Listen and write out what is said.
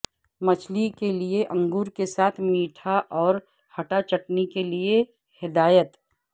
مچھلی کے لئے انگور کے ساتھ میٹھا اور ھٹا چٹنی کے لئے ہدایت